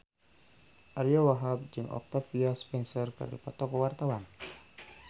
Ariyo Wahab jeung Octavia Spencer keur dipoto ku wartawan